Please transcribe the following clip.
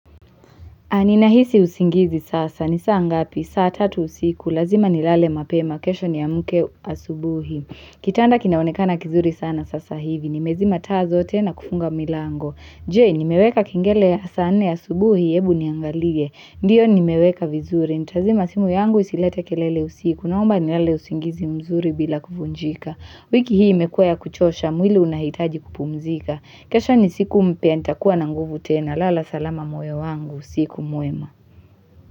Ninahisi usingizi sasa. Nisaa ngapi? Saa tatu usiku. Lazima nilale mapema. Kesho ni amke asubuhi. Kitanda kinaonekana kizuri sana sasa hivi. Nimezima taa na kufunga milango. Jee, nimeweka kingele ya saa nne asubuhi. Hebu niangalie. Ndiyo nimeweka vizuri. Nitazima simu yangu isilete kelele usiku. Naomba nilale usingizi mzuri bila kuvunjika. Wiki hii imekua ya kuchosha, mwili unahitaji kupumzika kesho ni siku mpya, nitakuwa na nguvu tena lala salama moyo wangu, usiku mwema.